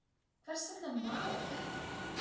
Hvers vegna mala kettir?